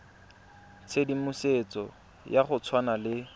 tshedimosetso ya go tshwana le